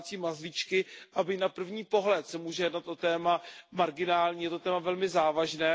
domácí mazlíčky, a byť na první pohled se může jednat o téma marginální, je to téma velmi závažné.